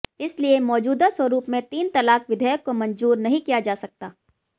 इसलिए मौजूदा स्वरूप में तीन तलाक विधेयक को मंजूर नहीं किया जा सकता